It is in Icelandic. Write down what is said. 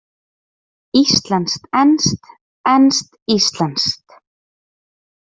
Íslenskt-enskt, enskt-íslenskt.